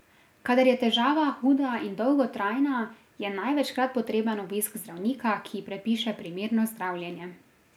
Kadar je težava huda in dolgotrajna, je največkrat potreben obisk zdravnika, ki predpiše primerno zdravljenje.